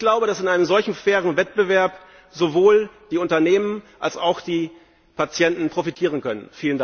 Ich glaube, dass von einem solchen fairen Wettbewerb sowohl die Unternehmen als auch die Patienten profitieren können.